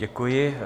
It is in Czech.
Děkuji.